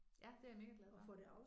Ja det er jeg mega glad for